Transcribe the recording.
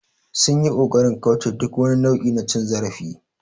They tried to avoid any form of abuse